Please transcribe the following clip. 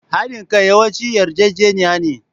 Haɗin kai yawanci yarjejeniya ne.